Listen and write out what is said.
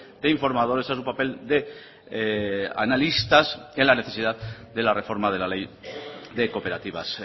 de informadores a su papel de analistas en la necesidad de la reforma de la ley de cooperativas